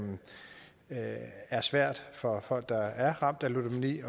er svært for folk der er ramt af ludomani